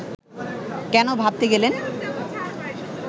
কেন ভাবতে গেলেন